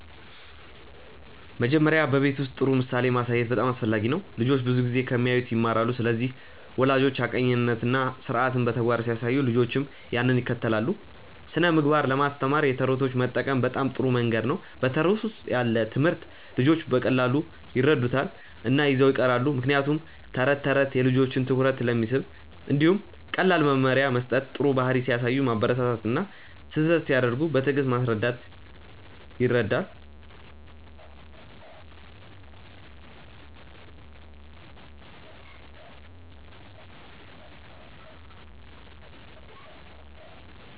መጀመሪያ በቤት ውስጥ ጥሩ ምሳሌ ማሳየት በጣም አስፈላጊ ነው። ልጆች ብዙ ጊዜ ከሚያዩት ይማራሉ ስለዚህ ወላጆች ሐቀኛነትን እና ስርዓትን በተግባር ሲያሳዩ ልጆችም ያንን ይከተላሉ። ስነ ምግባር ለማስተማር የተረቶች መጠቀም በጣም ጥሩ መንገድ ነው በተረት ውስጥ ያለ ትምህርት ልጆች በቀላሉ ይረዱታል እና ይዘው ይቀራሉ ምክንያቱም ተረት ተረት የልጆችን ትኩረት ስለሚስብ። እንዲሁም ቀላል መመሪያ መስጠት ጥሩ ባህሪ ሲያሳዩ ማበረታታት እና ስህተት ሲያደርጉ በትዕግስት ማስረዳት ይረዳል።